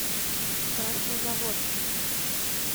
краснозаводском